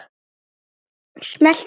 Smelltu hér.